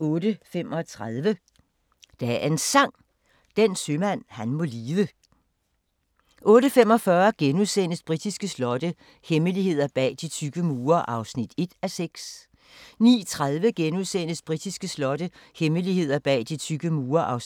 08:35: Dagens Sang: Den sømand han må lide 08:45: Britiske slotte – hemmeligheder bag de tykke mure (1:6)* 09:30: Britiske slotte – hemmeligheder bag de tykke mure (2:6)*